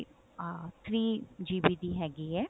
ah three GB ਦੀ ਹੈਗੀ ਹੈ